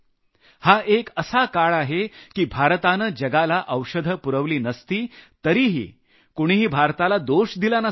हा एक असा काळ आहे की भारतानं जगाला औषधं पुरवली नसती तरीही कुणीही भारताला दोष दिला नसता